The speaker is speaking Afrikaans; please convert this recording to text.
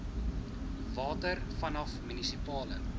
water vanaf munisipale